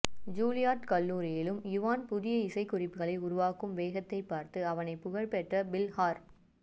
Juilliard கல்லூரியிலும் Ivan புதிய இசைக்குறிப்புகளை உருவாக்கும் வேகத்தைப் பார்த்து அவனை புகழ்பெற்ற பில் ஹார்